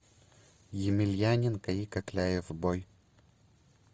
емельяненко и кокляев бой